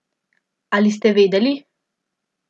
Ali ste vedeli?